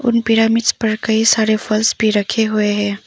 उन पिरामिड्स पर कई सारे फल्स भी रखे हुए हैं।